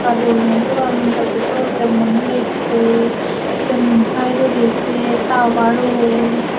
ekka dol noi puran jaji dol jemon lekko semon saidodi se tawarun.